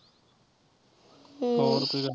ਹੋਰ ਕੋਈ ਗੱਲ।